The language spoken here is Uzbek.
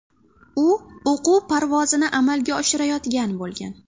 U o‘quv parvozini amalga oshirayotgan bo‘lgan.